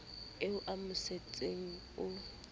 eo o mo sentseng o